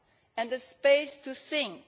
and the space to think.